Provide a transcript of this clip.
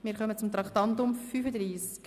Wir kommen zum Traktandum 35: «